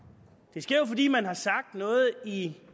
det sker fordi man har sagt noget i